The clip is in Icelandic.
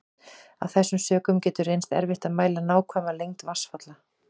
Af þessum sökum getur reynst erfitt að mæla nákvæma lengd vatnsfalla.